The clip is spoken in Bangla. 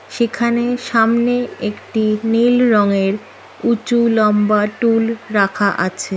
সেখানে সামনে একটি নীল রঙের উঁচু লম্বা টুল রাখা আছে।